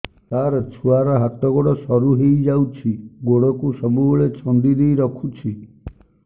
ସାର ଛୁଆର ହାତ ଗୋଡ ସରୁ ହେଇ ଯାଉଛି ଗୋଡ କୁ ସବୁବେଳେ ଛନ୍ଦିଦେଇ ରଖୁଛି